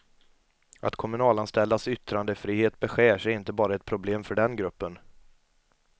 Att kommunanställdas yttrandefrihet beskärs är inte bara ett problem för den gruppen.